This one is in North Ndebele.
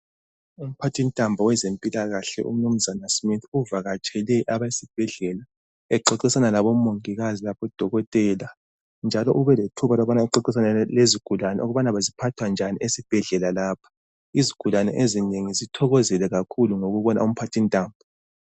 Umphathintambo wezempilakahle umnumzana Smith uvakatshele abesibhedlela exoxisana labomongikazi labodokotela njalo ubelethuba lokuxoxisana lezigulane ukubana ziphathwa njani esibhedlela lapha. Izigulane ezinengi zithokozile kakhulu ngokubona umphathintambo.